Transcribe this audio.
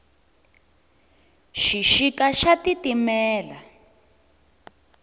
xixika xa titimela